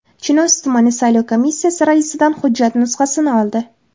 Chinoz tumani saylov komissiyasi raisidan hujjat nusxasini oldi.